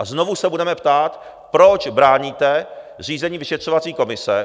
A znovu se budeme ptát, proč bráníte zřízení vyšetřovací komise.